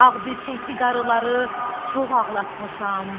Ağbircəkli qarıları çox ağlatmışam.